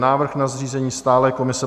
Návrh na zřízení stálé komise